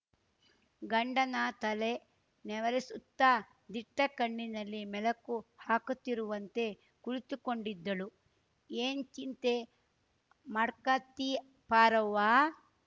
ಗಂಡನ ತಲೆ ನೆವರಿಸುತ್ತಾ ದಿಟ್ಟಗಣ್ಣಿನಲಿ ಮೆಲುಕು ಹಾಕುತ್ತಿರುವಂತೆ ಕುಳಿತುಕೊಂಡಿದ್ದಳುಏನ್ ಚಿಂತೆ ಮಾಡ್ಕತ್ತಿ ಪಾರವ್ವ